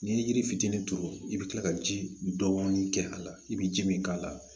N'i ye yiri fitinin turu i bɛ kila ka ji dɔɔni kɛ a la i bɛ ji min k'a la